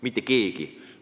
Mitte keegi!